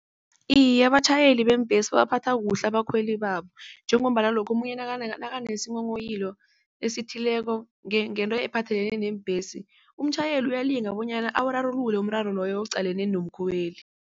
Iye, abatjhayeli beembhesi babaphatha kuhle abakhweli babo njengombana lokho omunye nakanesinghonghoyilo esithileko ngento ephathelene neembhesi umtjhayeli uyalinga bonyana awurarulula umraro loyo oqalene nomkhweli.